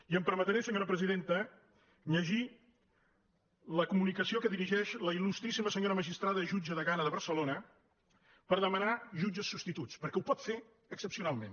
i em permetré senyora presiden·ta llegir la comunicació que dirigeix la il·lustríssima senyora magistrada jutge degana de barcelona per de·manar jutges substituts perquè ho pot fer excepcional·ment